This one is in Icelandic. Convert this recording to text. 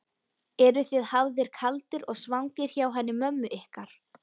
Eruð þið hafðir kaldir og svangir hjá henni mömmu ykkar?